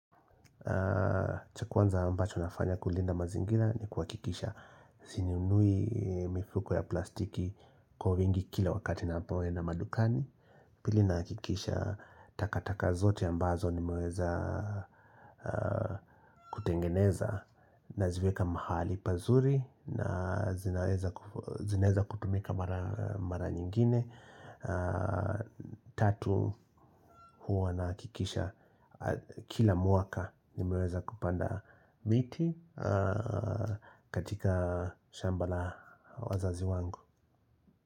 Cha kwanza ambacho nafanya kulinda mazingira ni kuhakikisha sinunui mifuko ya plastiki kwa wingi kila wakati ninapoenda madukani Pili nahikikisha takataka zote ambazo nimeweza kutengeneza naziweka mahali pazuri na zinaweza kutumika mara nyingine Tatu huwa nahakikisha Kila mwaka nimeweza kupanda miti katika shamba la wazazi wangu.